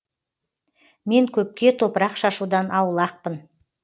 мен көпке топырақ шашудан аулақпын